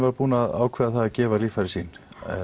búinn að ákveða að gefa líffæri sín